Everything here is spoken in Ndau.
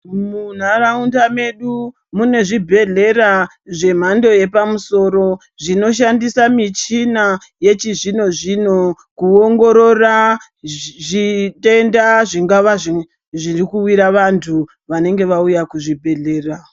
Muntaraunda yedu mune zvibhedhlera zvemhando yepamusoro zvinoshandisa michina yechizvino-zvino kuongorora zvitenda zvingava zvirikuwira vantu vanenge vauya kuchibhedhlera.